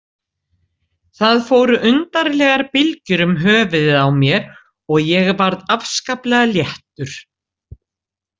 Það fóru undarlegar bylgjur um höfuðið á mér og ég varð afskaplega léttur.